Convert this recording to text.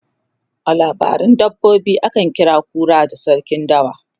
a labaran dabbobi akan kira kura da sarkin dawa